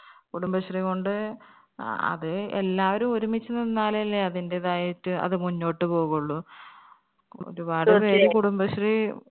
കുടുംബശ്രീ കൊണ്ട് ആ അത് എല്ലാവരു ഒരുമിച്ച് നിന്നാലല്ലേ അതിന്റേതായിട്ട് അത് മുന്നോട്ട് പോകുള്ളൂ ഒരുപാട് കുടുംബശ്രീ